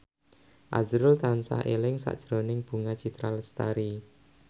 azrul tansah eling sakjroning Bunga Citra Lestari